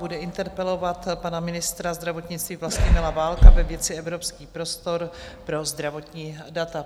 Bude interpelovat pana ministra zdravotnictví Vlastimila Válka ve věci Evropský prostor pro zdravotní data.